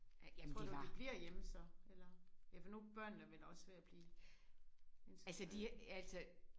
Tror du de bliver hjemme så? Eller ja for nu er børnene vel også ved at blive integrerede